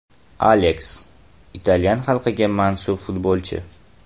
Aleks – italyan xalqiga mansub futbolchi.